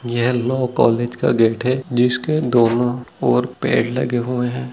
ये law college का gate है जिसके दोनों ओर पेड़ लगे हुए है।